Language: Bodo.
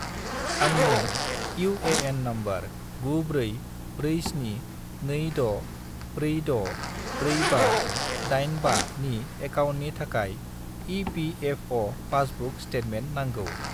आंनो इउ.ए.एन. नम्बर 944726464585 नि एकाउन्टनि थाखाय इ.पि.एफ.अ'. पासबुक स्टेटमेन्ट नांगौ।